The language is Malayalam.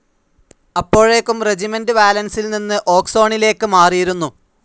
അപ്പോഴേക്കും റെജിമെന്റ്‌ വാലൻസിൽ നിന്ന് ഓക്സോണിലേക്ക് മാറിയിരുന്നു